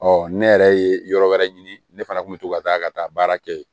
Ɔ ne yɛrɛ ye yɔrɔ wɛrɛ ɲini ne fana kun bɛ to ka taa ka taa baara kɛ yen